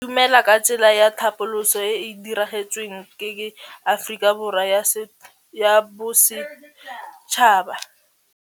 Go itumela ke tsela ya tlhapolisô e e dirisitsweng ke Aforika Borwa ya Bosetšhaba.